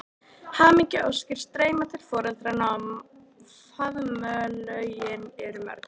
Hamingjuóskir streyma til foreldranna og faðmlögin eru mörg.